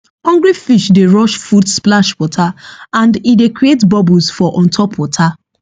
hungry fish dey rush food splash water and e dey create bubbles for on top water